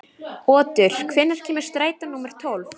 Otur, hvenær kemur strætó númer tólf?